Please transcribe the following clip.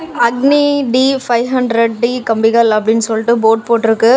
அக்னி T five hundred T கம்பிகள் அப்டினு சொல்ட்டு போர்டு போட்ருக்கு.